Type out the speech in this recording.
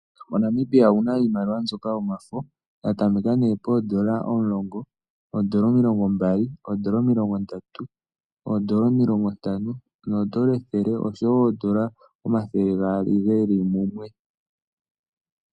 MoNamibia omu na iimaliwa mbyoka yomafo. Ya tameka nee poodola omulongo, oodola omilongombali, oodola omilongondatu, oodola omilongontano noodola ethele ethele osho wo oodola omathele gaali ge li mumwe.